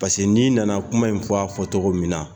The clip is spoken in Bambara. Pseke n'i nana kuma in fɔ a fɔ to min na